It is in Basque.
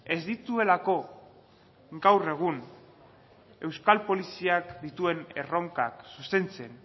ez dituelako gaur egun euskal poliziak dituen erronkak zuzentzen